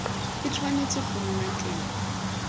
e tshwanetse go nna teng